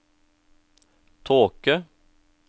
tåke